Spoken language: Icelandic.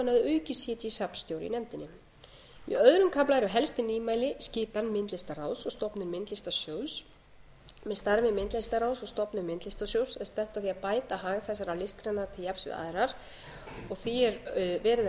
safnstjóri í nefndinni í öðrum kafla eru helstu nýmæli skipan myndlistarráðs og stofnun myndlistarsjóðs með starfi myndlistarráðs og stofnun myndlistarsjóðs er stefnt að því að bæta hag þessarar listgreinar til jafns við aðrar og því er verið